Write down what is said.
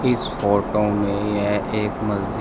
इस फोटो में यह एक मस्जिद--